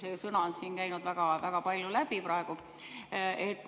See sõna on siin väga-väga palju läbi käinud praegu.